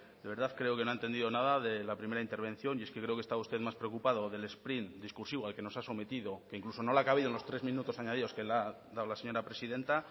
de verdad creo que no ha entendido nada de la primera intervención y es que creo que estaba usted más preocupado del sprint discursivo al que nos ha sometido que incluso no le ha cabido en los tres minutos añadidos que le ha dado la señora presidenta